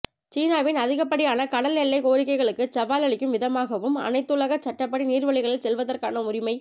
சீனாவின் அதிகப்படியான கடல் எல்லைக் கோரிக்கைகளுக்குச் சவால் அளிக்கும் விதமாகவும் அனைத்துலகச் சட்டப்படி நீர்வழிகளில் செல்வதற்கான உரிமை